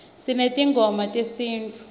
sinetingoma tesinifu